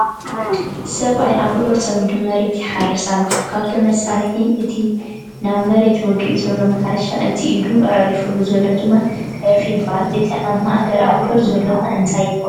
ሰብኣይ ኣብዑሩ ፀሚዱ መሬቱ ይሓርስ ኣሎ፡ ካብቶም መሳርሒ እቲ ናብ መሬት ወጊኡ ዘሎ ማሕረሻ ፣ እቲ ኢዱ ኣዕሪፉሉ ዘሎ ድማ ዕርፊ ይበሃሉ፡ እቲ ኣብ ማዕገር ኣብዑር ዘሎ 'ኸ እንታይ ይበሃል ?